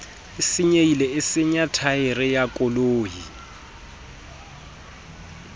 senyehileng e senya thaere ya